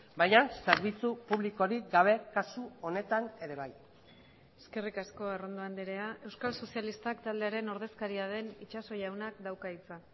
baina zerbitzu publikorik gabe kasu honetan ere bai eskerrik asko arrondo andrea euskal sozialistak taldearen ordezkaria den itxaso jaunak dauka hitza